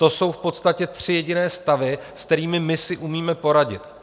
To jsou v podstatě tři jediné stavy, se kterými my si umíme poradit.